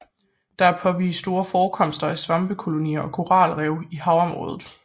Der er påvist store forekomster af svampekolonier og koralrev i havområdet